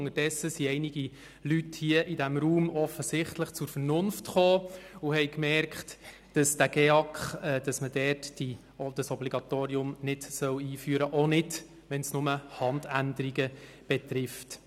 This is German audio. Unterdessen sind einige Leute hier im Grossen Rat offensichtlich zur Vernunft gekommen und haben gemerkt, dass man das GEAK-Obligatorium nicht einführen soll, auch dann nicht, wenn es lediglich Handänderungen betrifft.